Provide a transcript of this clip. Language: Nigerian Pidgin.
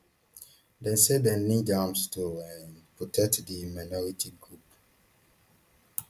dem say dem need arms to um protect di minority group